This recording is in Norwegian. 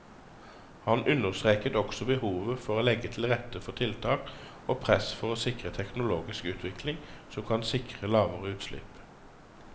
Han understreket også behovet for å legge til rette for tiltak og press for å sikre teknologisk utvikling som kan sikre lavere utslipp.